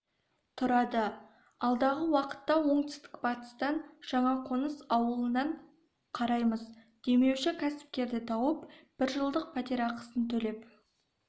тұрады алдағы уақытта оңтүстік батыстан жаңақоныс ауылынан қараймыз демеуші кәсіпкерді тауып бір жылдық пәтерақысын төлеп